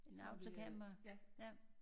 En autocamper? Ja